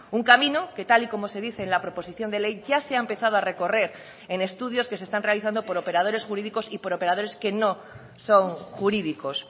un camino que tal y como se dice en la proposición de ley ya se ha empezado a recorrer en estudios que se están realizando por operadores jurídicos y por operadores que no son jurídicos